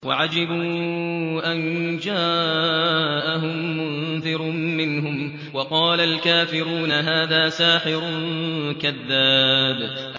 وَعَجِبُوا أَن جَاءَهُم مُّنذِرٌ مِّنْهُمْ ۖ وَقَالَ الْكَافِرُونَ هَٰذَا سَاحِرٌ كَذَّابٌ